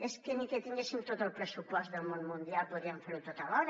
és que ni que tinguéssim tot el pressupost del món mundial podríem fer ho tot alhora